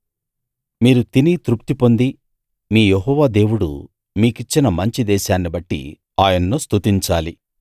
మీరు తిని తృప్తి పొంది మీ యెహోవా దేవుడు మీకిచ్చిన మంచి దేశాన్నిబట్టి ఆయన్ను స్తుతించాలి